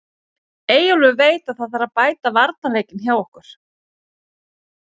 Eyjólfur veit að það þarf að bæta varnarleikinn hjá okkur.